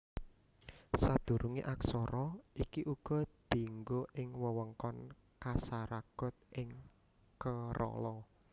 Sadurungé aksara iki uga dianggo ing wewengkon Kasaragod ing Kerala